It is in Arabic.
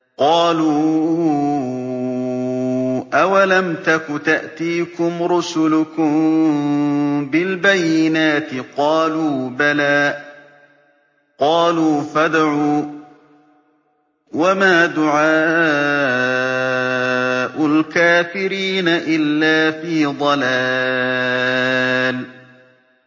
قَالُوا أَوَلَمْ تَكُ تَأْتِيكُمْ رُسُلُكُم بِالْبَيِّنَاتِ ۖ قَالُوا بَلَىٰ ۚ قَالُوا فَادْعُوا ۗ وَمَا دُعَاءُ الْكَافِرِينَ إِلَّا فِي ضَلَالٍ